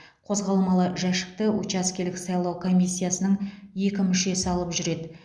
қозғалмалы жәшікті учаскелік сайлау комиссиясының екі мүшесі алып жүреді